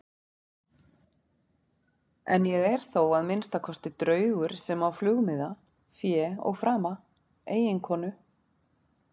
En ég er þó að minnsta kosti draugur sem á flugmiða, fé og frama, eiginkonu.